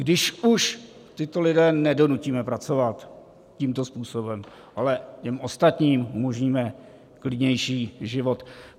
Když už tyto lidi nedonutíme pracovat tímto způsobem, ale těm ostatním umožníme klidnější život.